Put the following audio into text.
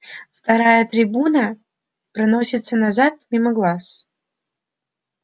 вторая трибуна проносится назад мимо глаз